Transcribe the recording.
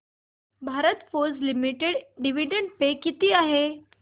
Bharat Forge limited dividend pay किती आहे